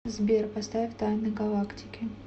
сбер поставь тайны галактики